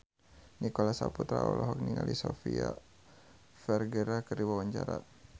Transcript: Nicholas Saputra olohok ningali Sofia Vergara keur diwawancara